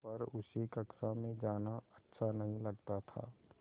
पर उसे कक्षा में जाना अच्छा नहीं लगता था